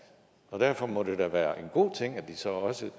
og derfor må det da være en god ting at de så også